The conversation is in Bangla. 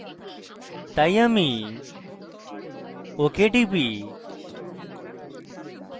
তাই আমি ok টিপি